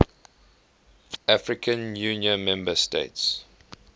african union member states